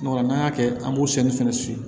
n'an y'a kɛ an b'o sɛnsɛn fɛnɛ siyɛ